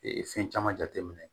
fɛn caman jate minɛ